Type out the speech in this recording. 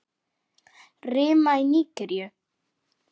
Rima í Nígeríu